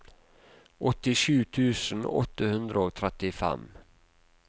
åttisju tusen åtte hundre og trettifem